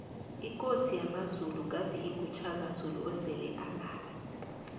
ikosi yamazulu ebegade ingu shaka zulu osele alala